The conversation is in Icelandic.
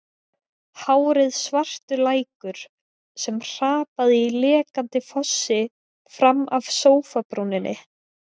Hárið svartur lækur sem hrapaði í leikandi fossi fram af sófabrúninni.